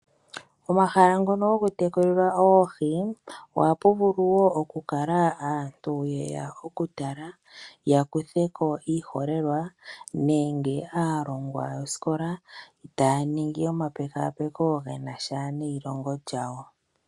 Pomahala ngono gokutekulilwa oohi oha pu vulu oku adhika aantu mbono yeya okutala ,ya kuthe ko iiholelwa nenge aalongwa yosikola taya ningi omapekapeko gena sha neyilongo lyawo.